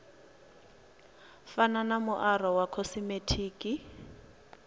fana na muaro wa khosimetiki